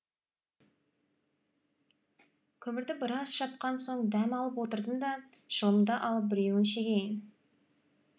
көмірді біраз шапқан соң дәм алып отырдым да шылымды алып біреуін шегейін